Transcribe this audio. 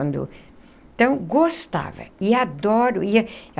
Então, gostava e adoro e.